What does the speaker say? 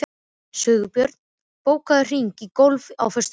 Sigbjörn, bókaðu hring í golf á föstudaginn.